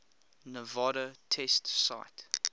nevada test site